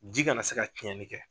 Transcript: Ji kana na se ka cɛnli kɛ.